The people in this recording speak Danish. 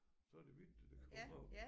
Så er det hvidt det der kommer op